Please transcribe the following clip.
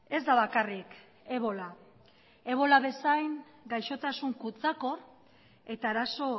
ez da bakarrik ebola ebola bezain gaizotasun kutsakor eta arazo